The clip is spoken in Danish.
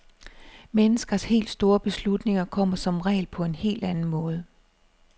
Menneskers helt store beslutninger kommer som regel på en helt anden måde.